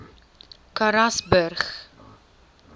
karasburg